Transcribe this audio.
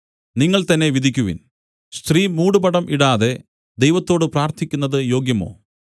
നിങ്ങൾതന്നെ വിധിക്കുവിൻ സ്ത്രീ മൂടുപടം ഇടാതെ ദൈവത്തോട് പ്രാർത്ഥിക്കുന്നത് യോഗ്യമോ